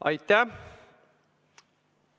Aitäh!